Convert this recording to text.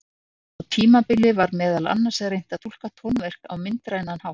Á tímabili var meðal annars reynt að túlka tónverk á myndrænan hátt.